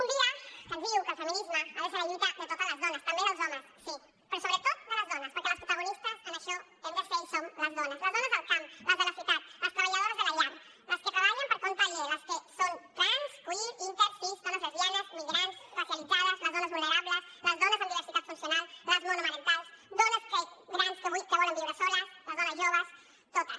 un dia que ens diu que el feminisme ha de ser la lluita de totes les dones també dels homes sí però sobretot de les dones perquè les protagonistes en això hem de ser i som les dones les dones del camp les de la ciutat les treballadores de la llar les que treballen per compte aliè les que són trans queer inter cis dones lesbianes migrants racialitzades les dones vulnerables les dones amb diversitat funcional les monomarentals dones grans que volen viure soles les dones joves totes